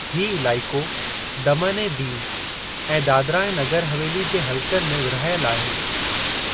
हीउ इलाइक़ो दमन ऐं दिऊ ऐं दादरा ऐं नगर हवेली जे हलक़नि में विर्हाइल आहे।